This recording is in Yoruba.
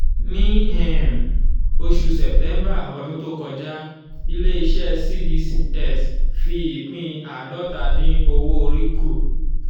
ní um oṣù september ọdún tó kọjá ilé-iṣẹ́ cbs fi ìpín àádọ́ta dín owó orí kù.